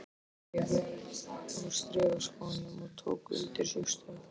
Steig upp úr strigaskónum og tók undir sig stökk.